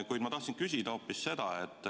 Kuid ma tahtsin küsida hoopis seda.